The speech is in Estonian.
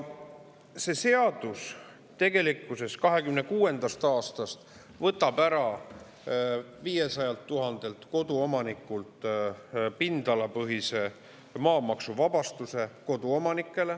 See seadus võtab tegelikkuses 2026. aastast 500 000 koduomanikult ära pindalapõhise maamaksuvabastuse.